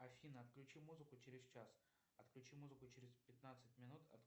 афина отключи музыку через час отключи музыку через пятнадцать минут